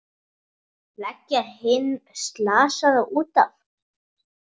Leggja hinn slasaða út af.